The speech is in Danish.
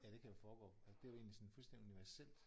Ja det kan jo foregå altså det er jo egentlig sådan fuldstændig universelt